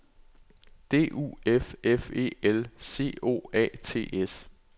D U F F E L C O A T S